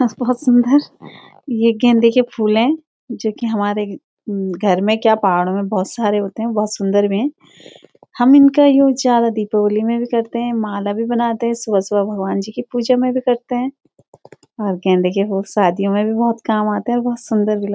बहौत सुंदर ये गेंदे के फूल हैं जोकि हमारे घर मे क्या पहाड़ों मे बहौत सारे होते हैं बहौत सुंदर भी हैं हम इनका यूज ज्यादा दीपावली मे भी करते हैं माला भी बनाते हैं सुबह-सुबह भगवान जी कि पूजा मे भी करते हैं और गेंदे के फूल शादियों मे भी बहौत काम आते हैं और बहौत सुंदर भी लग --